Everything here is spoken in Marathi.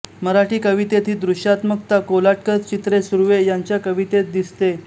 मराठी कवितेत ही दृश्यात्मकता कोलटकर चित्रे सुर्वे यांच्या कवितेत दिसते